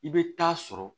I bɛ taa sɔrɔ